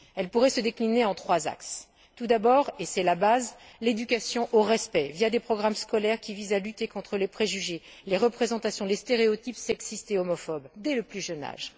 Elles pourraient se décliner en trois axes tout d'abord, et c'est la base, l'éducation au respect via des programmes scolaires qui visent à lutter contre les préjugés, les représentations, les stéréotypes sexistes et homophobes, dès le plus jeune âge